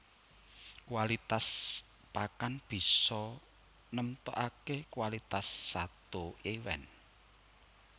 Kualitas pakan bisa nemtokaké kualitas sato iwèn